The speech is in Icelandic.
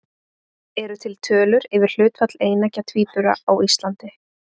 Eru til tölur yfir hlutfall eineggja tvíbura á Íslandi?